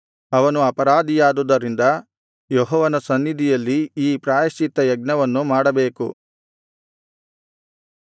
ಅವನು ಅಪರಾಧಿಯಾದುದರಿಂದ ಯೆಹೋವನ ಸನ್ನಿಧಿಯಲ್ಲಿ ಈ ಪ್ರಾಯಶ್ಚಿತ್ತಯಜ್ಞವನ್ನು ಮಾಡಬೇಕು